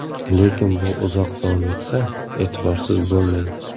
Lekin bu uzoq davom etsa, e’tiborsiz bo‘lmang.